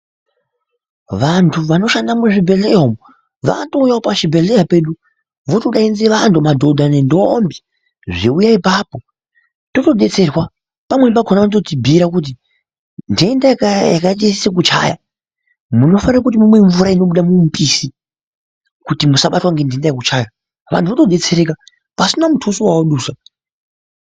Vantu vanoshanda muzvibhedhlera umwo vandouyawo pazvibhebhedhlera pedu votodanidzira vantu madhodha ngendombi zveiuye apapo totodetserwa pamweni pakona vanototibhiira kuti ndenda yakaite sekuchaya munofanire kuti mumwe mvura inobuda mumupisi kuti musabatwa ngendenda yekuchayavantu votodetsereka pasina mutuso wawadusa.